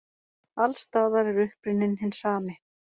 Alls staðar er uppruninn hinn sami.